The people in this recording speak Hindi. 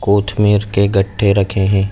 कूच मीर के गट्ठे रखे हैं।